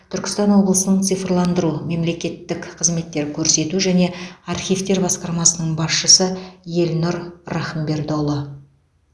түркістан облысының цифрландыру мемлекеттік қызметтер көрсету және архивтер басқармасының басшысы елнұр рахымбердіұлы